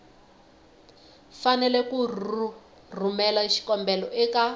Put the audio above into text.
fanele ku rhumela xikombelo eka